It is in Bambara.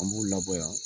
An b'u labɔ yan